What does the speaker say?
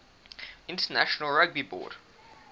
international rugby board